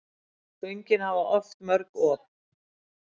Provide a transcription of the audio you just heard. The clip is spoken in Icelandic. Göngin hafa oft mörg op.